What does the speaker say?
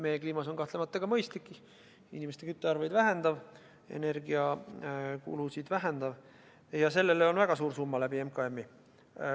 Meie kliimas on see kahtlemata ka mõistlik – inimeste küttearved vähenevad, energiakulu väheneb – ja sellele on MKM-i kaudu väga suur summa ette nähtud.